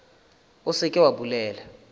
o se ke wa bolela